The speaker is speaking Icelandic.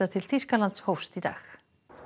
til Þýskalands hófst í dag